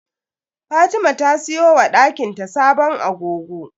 Fatima ta siyo wa dakin ta sabon agogo.